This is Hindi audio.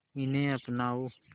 इन्हें अपनाओ